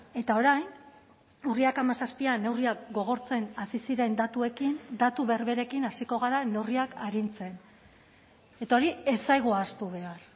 eta orain urriak hamazazpian neurriak gogortzen hasi ziren datuekin datu berberekin hasiko gara neurriak arintzen eta hori ez zaigu ahaztu behar